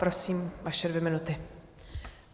Prosím, vaše dvě minuty.